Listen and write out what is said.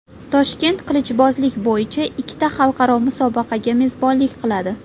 Toshkent qilichbozlik bo‘yicha ikkita xalqaro musobaqaga mezbonlik qiladi.